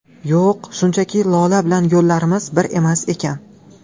Yo‘q, shunchaki Lola bilan yo‘llarimiz bir emas ekan.